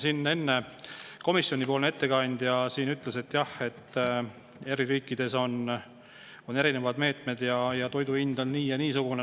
Siin enne komisjonipoolne ettekandja ütles, et jah, eri riikides on erinevad meetmed ja toidu hind on nii- ja niisugune.